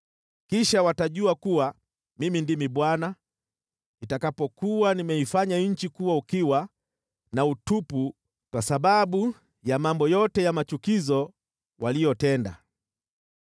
Kisha watajua kuwa Mimi ndimi Bwana , nitakapokuwa nimeifanya nchi kuwa ukiwa na utupu kwa sababu ya mambo yote ya machukizo waliyotenda.’